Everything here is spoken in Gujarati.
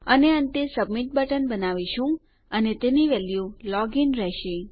અને અંતે સબમિટ બટન બનાવીશું અને તેની વેલ્યુ લોગ ઇન રહેશે